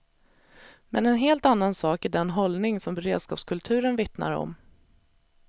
Men en helt annan sak är den hållning som beredskapskulturen vittnar om.